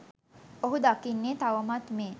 ඔහු දකින්නේ තවමත් මේ